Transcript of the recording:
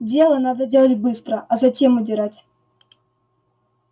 дело надо делать быстро а затем удирать